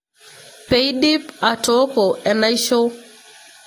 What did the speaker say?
Peidip atoko enaisho.